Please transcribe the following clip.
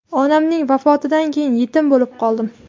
Onamning vafotidan keyin yetim bo‘lib qoldim.